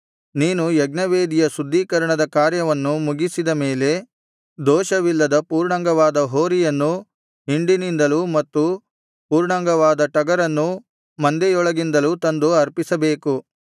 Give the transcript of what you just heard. ನೀನು ಯಜ್ಞವೇದಿಯ ಶುದ್ಧೀಕರಣದ ಕಾರ್ಯವನ್ನು ಮುಗಿಸಿದ ಮೇಲೆ ದೋಷವಿಲ್ಲದ ಪೂರ್ಣಾಂಗವಾದ ಹೋರಿಯನ್ನೂ ಹಿಂಡಿನಿಂದಲೂ ಮತ್ತು ಪೂರ್ಣಾಂಗವಾದ ಟಗರನ್ನೂ ಮಂದೆಯೊಳಗಿಂದಲೂ ತಂದು ಅರ್ಪಿಸಬೇಕು